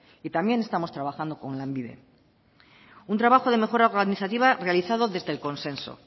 y también estamos trabajando con lanbide un trabajo de mejora organizativa realizado desde el consenso